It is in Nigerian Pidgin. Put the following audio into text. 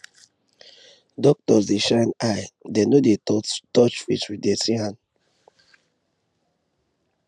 doctors dey shine eye dem no dey touch face with dirty hand